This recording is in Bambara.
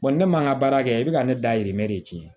ne man ka baara kɛ i bɛ ka ne dahirimɛ de tiɲɛ